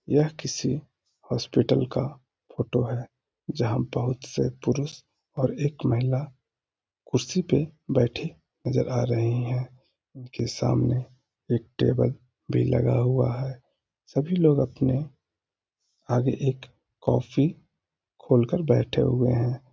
यह किसी हॉस्पिटल का फोटो है जहाँ बोहोत से पुरुष और एक महिला कुर्सी पर बैठी नजर आ रहे है उनके सामने एक टेबल भी लगा हुआ है सभी लोग अपने आगे एक कॉफी खोल कर बैठे हुए है।